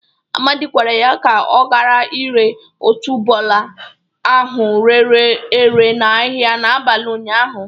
Amadị gwara ya ka ọ gara ire otuboala ahụ rere ere n'ahịa n'abali ụnyaahụ.